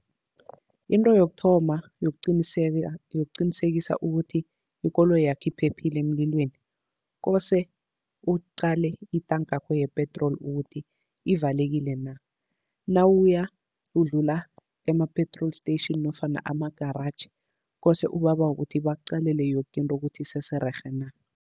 Into yokuthoma yokuqinisekisa ukuthi ikoloyakho iphephile emlilweni, kose uqale itankakho yepetroli ukuthi ivalekile na. Nawuya udlula ema-petrol station nofana ama-garage, kose ubabawe kuthi bakuqalele yoke into ukuthi isese rerhe na.